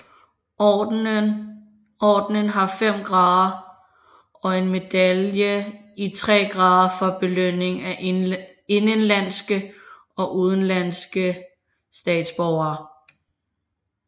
Ordenen har fem grader og en medalje i tre grader for belønning af indenlandske og udenlandske statsborgere